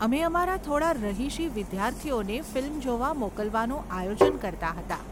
અમે અમારા થોડાં રહીશી વિદ્યાર્થીઓને ફિલ્મ જોવા મોકલવાનું આયોજન કરતા હતા.